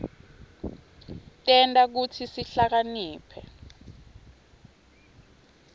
tenta kutsi sihlakaniphe